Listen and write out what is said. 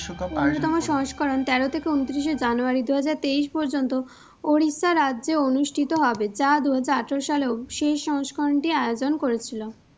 সংস্করণ তেরো থেকে ঊনত্রিশে জানুয়ারী দু হাজার তেইশ পর্যন্ত Odisha রাজ্যে অনুষ্ঠিত হবে। য দুহাজার আঠারো সালেও শেষ সংস্করণটি আয়োজন করেছিল।